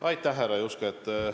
Aitäh, härra Juske!